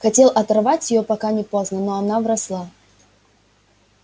хотел оторвать её пока не поздно но она вросла